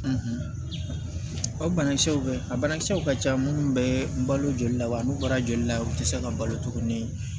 o banakisɛw bɛ yen a banakisɛw ka ca minnu bɛ balo joli la wa n'u bɔra joli la u tɛ se ka balo tuguni